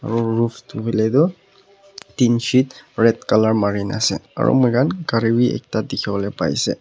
aro roof toh hoiletoh Tinsheet red colour marina ase aro moikan kari beh ekta tikibole pai ase.